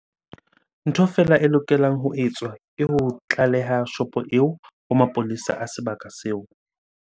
Ntho fela e lokelang ho etswa ke ho tlaleha shopo eo ho mapolesa a sebaka seo.